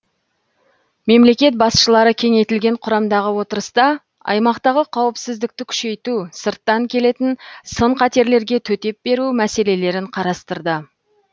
мемлекет басшылары кеңейтілген құрамдағы отырыста аймақтағы қауіпсіздікті күшейту сырттан келетін сын қатерлерге төтеп беру мәселелерін қарастырды